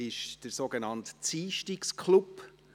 Es ist der sogenannte «Ziischtigsclub».